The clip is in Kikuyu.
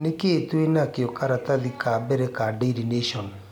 ni kĩĩ twina kio karatathi ka mbere ka daily nation